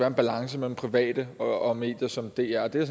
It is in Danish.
en balance mellem private og medier som dr og det er